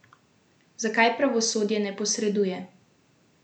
Zakaj pravosodje ne posreduje?